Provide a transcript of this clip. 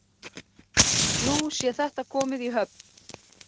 Nú sé þetta komið í höfn